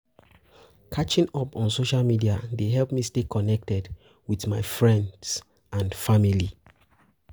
Catching up on social media dey help me stay connected with my friends and family.